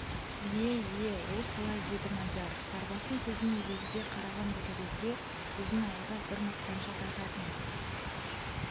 ие ие ол солай деді мадияр сарыбастың сөзіне елегізе қараған ботагөзге біздің ауылда бір мақтаншақ айтатын